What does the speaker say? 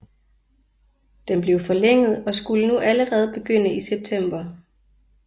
Den blev forlænget og skulle nu allerede begynde i september